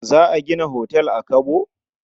Za a gina otal a Kabo?